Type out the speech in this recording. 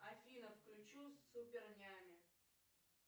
афина включу супер няня